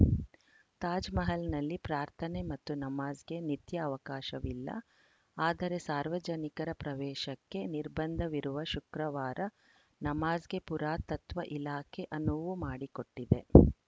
ತಾಜ್‌ಮಹಲ್‌ನಲ್ಲಿ ಪ್ರಾರ್ಥನೆ ಮತ್ತು ನಮಾಜ್‌ಗೆ ನಿತ್ಯ ಅವಕಾಶವಿಲ್ಲ ಆದರೆ ಸಾರ್ವಜನಿಕರ ಪ್ರವೇಶಕ್ಕೆ ನಿರ್ಬಂಧವಿರುವ ಶುಕ್ರವಾರ ನಮಾಜ್‌ಗೆ ಪುರಾತತ್ವ ಇಲಾಖೆ ಅನುವು ಮಾಡಿಕೊಟ್ಟಿದೆ